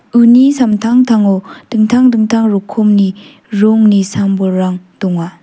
uni samtangtango dingtang dingtang rokomni rongni sam-bolrang donga.